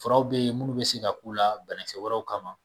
Furaw bɛ yen minnu bɛ se ka k'u la banakisɛ wɛrɛw kama